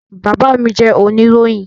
Bàbá mí jẹ́ oníròyìn